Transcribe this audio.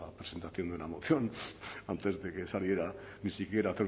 presentación de una moción antes de que saliera ni siquiera a hacer